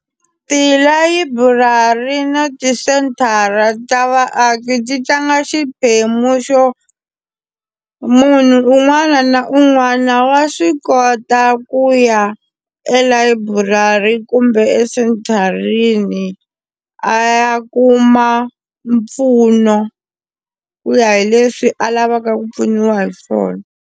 Tilayiburari na tisenthara ta vaaki ti tlanga xiphemu xo munhu un'wana na un'wana wa swi kota ku ya elayiburari kumbe esentharini a ya kuma mpfuno ku ya hi leswi a lavaka ku pfuniwa hi swona.